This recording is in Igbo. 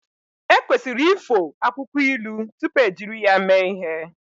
Ekwesịrị ifo akwụkwọ ilu tupu ejiri ya mee ihe